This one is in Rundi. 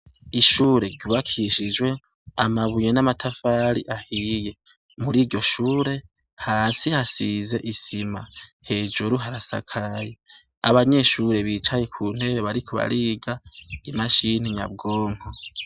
Ishure ryubakishijwe amabuye n'amatafari ahiye. Mur'iryo shure, hasi hasize isima, hejuru harasakaye. Abanyeshure bicaye ku ntebe bariko bariga imashini yabwo ko.